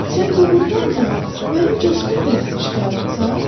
Sən doğrudan da mənim coşqun pərəstişkarımsan?